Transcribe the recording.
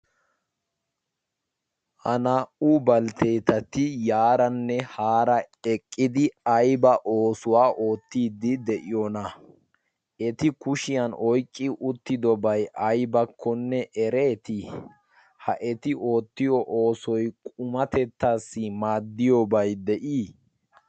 ha naa'u baliteetati yaaranne haara eqqidi ayba oosuwaa oottiiddi de'iyoona eti kushiyan oyqqi uttidobay aybakkonne ereetii? ha eti oottiyo oosoi qumatettaassi maaddiyooba? de'ii?